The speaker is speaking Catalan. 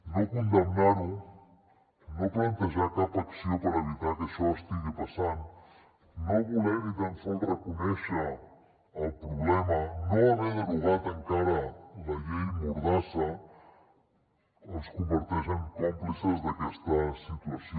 no condemnar ho no plantejar cap acció per evitar que això estigui passant no voler ni tan sols reconèixer el problema no haver derogat encara la llei mordassa els converteix en còmplices d’aquesta situació